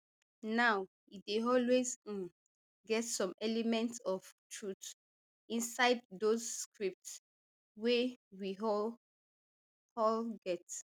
now e dey always um get some element of truth inside those scripts wey we all all get